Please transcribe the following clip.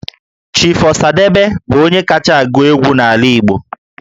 Chief Osadebe bụ onye kacha agụ egwu n'ala Igbo